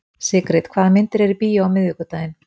Sigrid, hvaða myndir eru í bíó á miðvikudaginn?